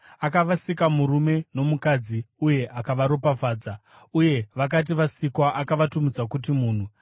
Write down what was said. Akavasika murume nomukadzi uye akavaropafadza. Uye vakati vasikwa, akavatumidza kuti “munhu.”